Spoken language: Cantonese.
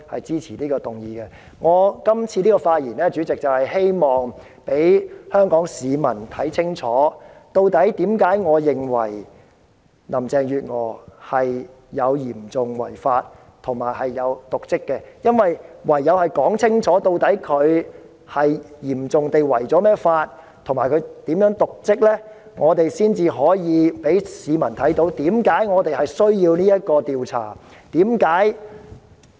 主席，我這次發言是希望讓香港市民看清楚，為甚麼我認為林鄭月娥有嚴重違法和瀆職行為，因為唯有清楚說明林鄭月娥如何嚴重違法及瀆職，才可以讓市民明白為甚麼要進行這項獨立調查。